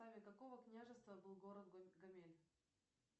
какого княжества был город гомель